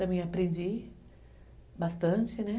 Também aprendi bastante.